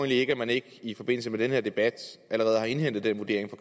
ikke at man ikke i forbindelse med denne debat allerede har indhentet den vurdering